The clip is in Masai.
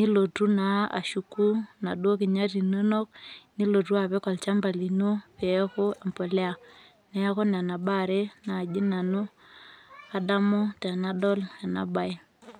nilotu naa ashuku naduo kinyat inonok, nilotu apik olchamba lino, peeku empolea. Neeku nena baa are naji nanu adamu tenadol enabae.